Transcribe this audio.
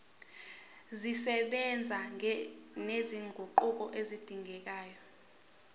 zisebenza nezinguquko ezidingekile